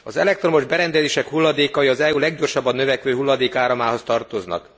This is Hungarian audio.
Az elektromos berendezések hulladékai az EU leggyorsabban növekvő hulladékáramához tartoznak.